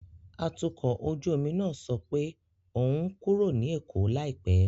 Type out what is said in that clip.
Atukọ̀ ojú omi náà sọ pé òun ń kúrò ní Èkó láìpẹ́.